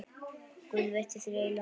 Guð veiti þér eilífan frið.